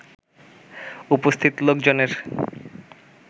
উপস্থিত লোকজনের